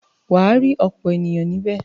Wà á rí ọ̀pọ̀ ènìyàn níbẹ̀.